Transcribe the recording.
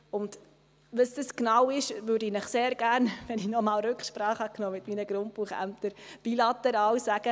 Was das genau ist, würde ich Ihnen sehr gerne bilateral sagen, nachdem ich nochmals Rücksprache mit meinen Grundbuchämtern genommen habe.